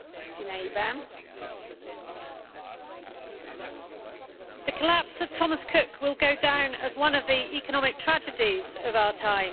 Madam President, the collapse of Thomas Cook will go down as one of the economic tragedies of our time.